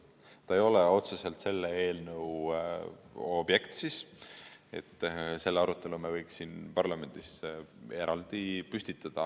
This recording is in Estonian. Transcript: See ei ole otseselt selle eelnõu objekt, selle arutelu me võiks siin parlamendis eraldi püstitada.